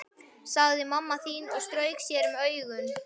sagði mamma þín og strauk sér um augun.